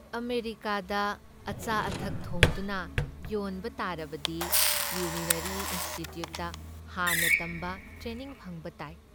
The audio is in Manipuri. ꯑꯃꯦꯔꯤꯀꯥꯗ ꯑꯆꯥ ꯑꯊꯛ ꯊꯣꯡꯗꯨꯅ ꯌꯣꯟꯕ ꯇꯥꯔꯕꯗꯤ ꯀꯤꯎꯂꯤꯅ꯭ꯌꯥꯔꯤ ꯏꯟꯁꯇꯤꯇ꯭ꯌꯨꯠꯗ ꯍꯥꯟꯅ ꯇꯝꯕ, ꯇ꯭ꯔꯦꯅꯤꯡ ꯐꯪꯕ ꯇꯥꯏ ꯫